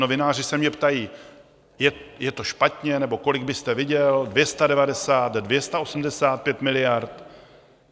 Novináři se mě ptají: Je to špatně, nebo kolik byste viděl, 290, 285 miliard?